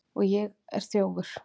Og ég er þjófur.